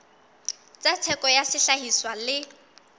tsa theko ya sehlahiswa le